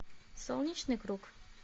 солнечный круг